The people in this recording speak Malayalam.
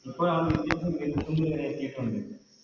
ഇപ്പോഴാണ് എത്തീട്ടുണ്ട്